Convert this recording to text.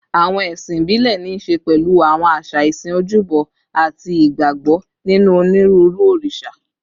Àwọn ẹ̀sìn ìbílẹ̀ ní í ṣe pẹ̀lú àwọn àṣà ìsìn, ojúbọ, àti ìgbàgbọ́ nínú onírúurú òrìṣà